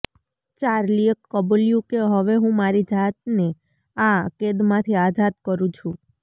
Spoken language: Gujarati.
ચાર્લીએ કબૂલ્યું કે હવે હું મારી જાતને આ કેદમાંથી આઝાદ કરું છું